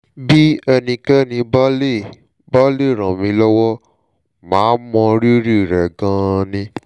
bí ẹnikẹ́ni bá lè bá lè ràn mí lọ́wọ́ màá mọ rírì rẹ̀ gan-an ni